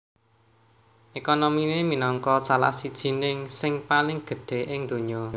Ekonominé minangka salah sijining sing paling gedhé ing donya